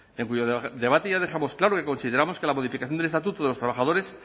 en cuyo debate ya dejamos claro que consideramos que la modificación del estatuto de los trabajadores